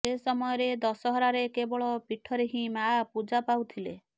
ସେ ସମୟରେ ଦଶହରାରେ କେବଳ ପୀଠରେ ହିଁ ମା ପୂଜା ପାଉଥିଲେ